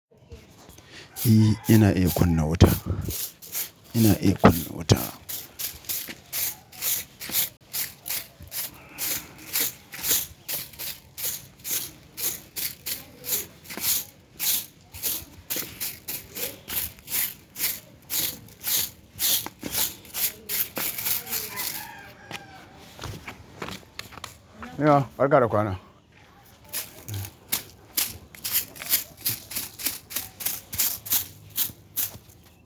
I yana iya kunna wuta. Yana iya kunna wuta. Nna, barka da kwana.